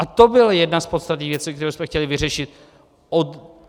A to byla jedna z podstatných věcí, kterou jsme chtěli vyřešit.